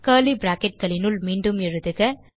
curly bracketகளினுள் மீண்டும் எழுதுக